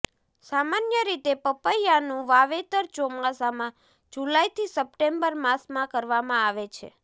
સામાન્ય રીતે પપૈયાંનું વાવેતર ચોમાસામાં જુલાઈથી સપ્ટેમ્બર માસમાં કરવામાં આવે છે